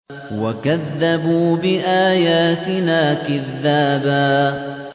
وَكَذَّبُوا بِآيَاتِنَا كِذَّابًا